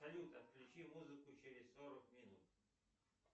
салют отключи музыку через сорок минут